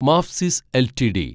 Mafsis LTD